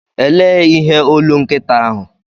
Elee ihe olu nkịta ahụ?